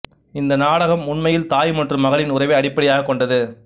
இந்த நாடகம் உண்மையில் தாய் மற்றும் மகளின் உறவை அடிப்படையாகக் கொண்டது